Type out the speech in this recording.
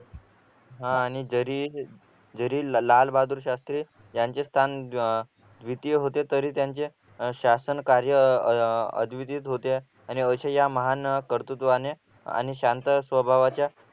हा आणि जरी जरी लालबहादूर शास्त्री यांचे स्थान द्वितीय होते तरी त्यांचे शासन कार्य अह अद्वितीय आणि अशा या महान कर्तुत्वान आणि शांत स्वभावाच्या